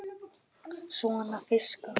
Svona fiska.